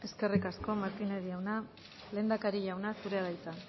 eskerrik asko eskerrik asko martínez jauna lehendakari jauna zurea da hitza